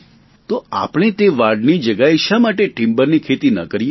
તો આપણે તે વાડની જગ્યાએ શા માટે ટિમ્બરની ખેતી ન કરીએ